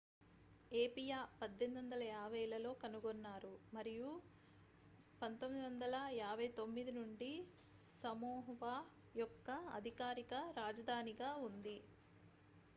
ఏపియా 1850లలో కనుగొన్నారు మరియు 1959 నుండి సమోవా యొక్క అధికారిక రాజధానిగా ఉంది